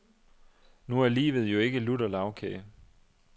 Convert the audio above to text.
Nu er livet jo ikke lutter lagkage.